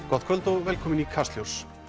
gott kvöld og velkomin í Kastljós